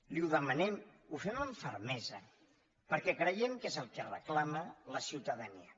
li ho demanem ho fem amb fermesa perquè creiem que és el que reclama la ciutadania